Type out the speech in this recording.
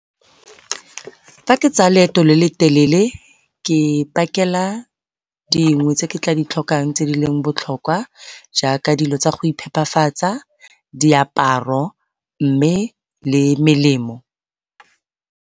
Fa ke tsaya leeto le le telele ke pakela dingwe tse ke tla ditlhokang tse di leng botlhokwa jaaka dilo tsa go iphepafatsa, diaparo, mme le melemo.